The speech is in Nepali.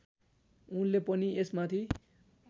उनले पनि यसमाथि